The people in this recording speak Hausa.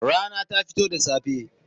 Rana ta fito da safe.